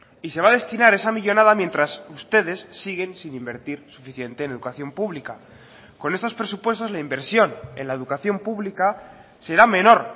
y se va a destinar esa millónada mientras ustedes siguen sin invertir suficiente en educación pública con estos presupuestos la inversión en la educación pública será menor